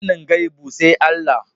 Sanin gaibu sai Allah